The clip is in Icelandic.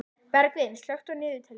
Bergvin, slökktu á niðurteljaranum.